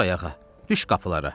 Dur ayağa, düş qapılara.